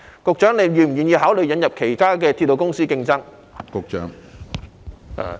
局長是否願意考慮引入其他鐵路公司以作競爭？